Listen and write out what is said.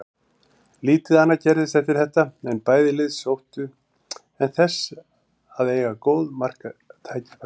Lítið annað gerðist eftir þetta en bæði lið sóttu en þess að eiga góð marktækifæri.